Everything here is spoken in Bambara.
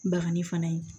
Bagani fana ye